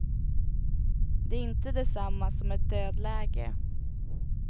Det är inte detsamma som ett dödläge.